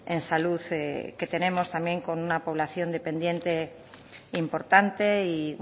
en salud que tenemos también con una población dependiente importante y